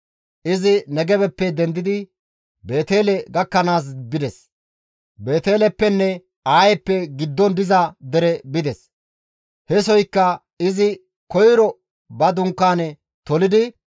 Izi Negebeppe dendidi Beetele gakkanaas bides; Beeteleppenne Ayeppe giddon diza dere bides; hesoykka izi koyro ba dunkaane tolidi,